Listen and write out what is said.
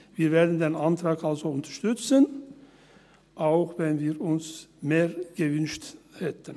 Wir werden den Antrag also unterstützen, auch wenn wir uns mehr gewünscht hätten.